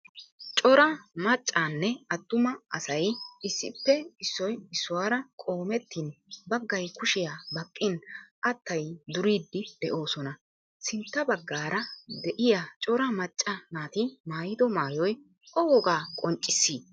Cora maaccanne attuma asaayi issippe issoy issuwara qoometin bagaay kuushshiya baaqiin attayi duuridi de'oosona. Sintta bagaara de'iya cora maacca naati maayido maayoy o woogaa qonccisi?